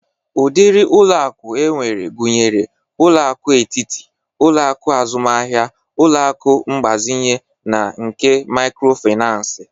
Ụdịrị ụlọ akụ enwere gụnyere ụlọ akụ etiti, ụlọ akụ azụmahia, ụlọ akụ mgbazinye na nke mikrofinans.